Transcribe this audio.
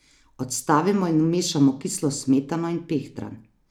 Odstavimo in vmešamo kislo smetano in pehtran.